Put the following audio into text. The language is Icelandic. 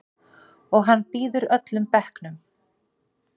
Og hann býður öllum bekknum.